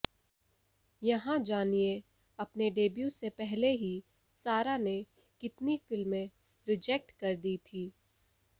यहां जानिए अपने डेब्यू से पहले ही सारा ने कितनी फिल्में रिजेक्ट कर दी थीं